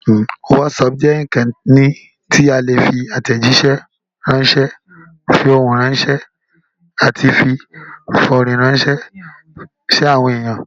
Wásaapù jẹ́ ìkànnì tí a ti lè fi àtẹ̀jíṣẹ́ ránṣé, fi ohùn ránṣẹ́, àti fi fọ́rán rànṣẹ́ sí àwọn èèyàn.